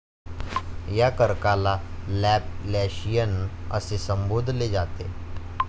या कर्काला लॅपलॅशियन असे संबोधले जाते.